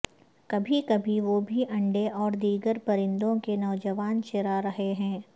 کبھی کبھی وہ بھی انڈے اور دیگر پرندوں کے نوجوان چرا رہا ہے